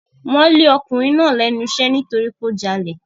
Wọ́n lé ọkùnrin náà lẹ́nu iṣẹ́ nítorí pé ó jalè.